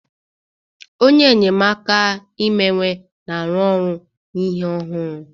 Onye enyemaka imewe na-arụ ọrụ na ihe ọhụrụ